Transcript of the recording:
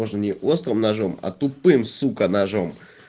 тоже не острым ножом а тупым сука ножом